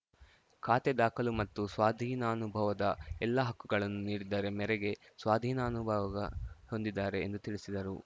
ಖಾತೆ ದಾಖಲು ಮತ್ತು ಸ್ವಾಧೀನಾನುಭವದ ಎಲ್ಲಾ ಹಕ್ಕುಗಳನ್ನು ನೀಡಿದ್ದರೆ ಮೇರೆಗೆ ಸ್ವಾಧೀನಾನುಭವ ಹೊಂದಿದ್ದಾರೆ ಎಂದು ತಿಳಿಸಿದರು